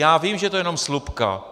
Já vím, že je to jenom slupka.